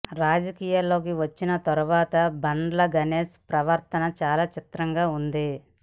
రాజకీయాల్లోకి వచ్చిన తర్వాత బండ్ల గణేష్ ప్రవర్తన చాలా చిత్రంగా ఉంది